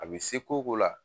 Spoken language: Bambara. A bɛ se ko o ko la